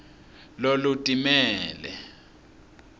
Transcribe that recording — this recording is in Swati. lolutimele